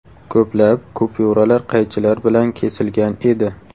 Ko‘plab kupyuralar qaychilar bilan kesilgan edi.